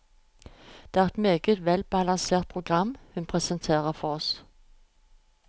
Det er et meget velbalansert program hun presenterer for oss.